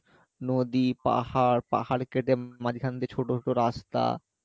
নদী পাহাড় পাহাড় কেটে মাঝখান দিয়ে ছোটো রাস্তা